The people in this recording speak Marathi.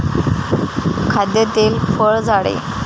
खाद्यतेल फळ झाडे